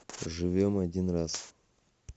живем один раз